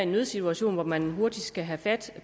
nødsituation hvor man hurtigt skal have fat